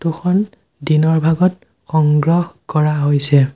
Photo খন দিনৰ ভাগত সংগ্ৰহ কৰা হৈছে।